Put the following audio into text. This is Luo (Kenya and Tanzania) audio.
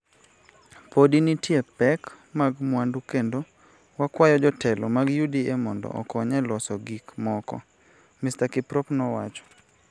Podi nitie pek mag mwandu kendo wakwayo jotelo mag UDA mondo okony e loso gik moko, Mr Kiprop nowacho.